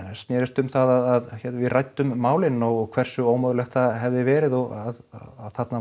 snerist um það við ræddum málin og hversu ómögulegt það hefði verið að þarna